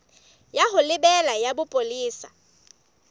ya ho lebela ya bopolesa